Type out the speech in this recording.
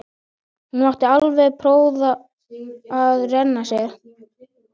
Hún mátti alveg prófa að renna sér.